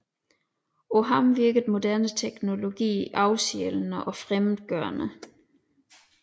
På ham virkede moderne teknologi afsjælende og fremmedgørende